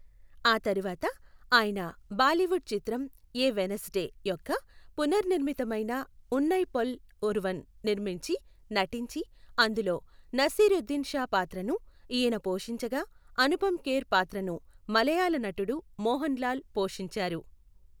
ఆ తరువాత ఆయన బాలీవుడ్ చిత్రం ఎ వెన్సెడే యొక్క పునర్నిర్మితమైన ఉన్నైపోల్ ఒరువన్ నిర్మించి నటించి, అందులో నసీరుద్దీన్ షా పాత్రను ఈయన పోషించగా అనుపమ్ ఖేర్ పాత్రను మలయాళ నటుడు మోహన్ లాల్ పోషించారు.